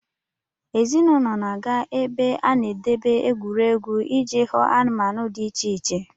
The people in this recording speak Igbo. Ezinụlọ na-aga ebe a na-edebe egwuregwu iji hụ anụmanụ dị iche iche.